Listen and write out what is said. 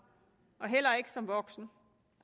og heller ikke som voksen